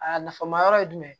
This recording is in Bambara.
A nafa ma yɔrɔ ye jumɛn